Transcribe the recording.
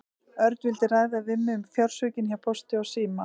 Örn vildi ræða við mig um fjársvikin hjá Pósti og síma.